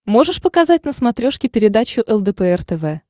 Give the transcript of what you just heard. можешь показать на смотрешке передачу лдпр тв